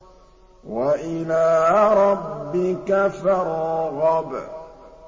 وَإِلَىٰ رَبِّكَ فَارْغَب